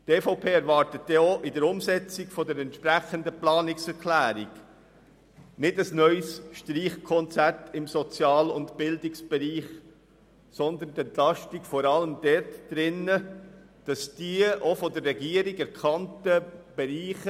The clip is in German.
Die EVP erwartet bei der Umsetzung der entsprechenden Planungserklärung kein neues Streichungskonzert im Sozial- und Bildungsbereich, sondern eine Entlastung vor allem in den Projekten mit Optimierungspotenzial, die auch von der Regierung erkannt wurden.